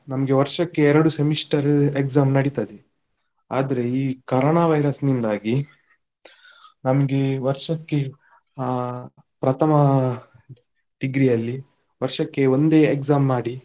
ನಮ್ಗೆ ವರ್ಷಕ್ಕೆ ಎರಡು semester exam ನಡಿತದೆ. ಈ ಕೊರೋನ virus ನಿಂದಾಗಿ ನಮ್ಗೆ ವರ್ಷಕ್ಕೆ ಹಾ ಪ್ರಥಮ degree ಯಲ್ಲಿ ವರ್ಷಕ್ಕೆ ಒಂದೇ exam ಮಾಡಿ.